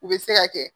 U bɛ se ka kɛ